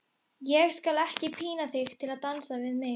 Ég skal ekki pína þig til að dansa við mig.